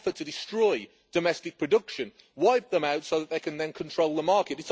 It's an effort to destroy domestic production wipe them out so that they can then control the market.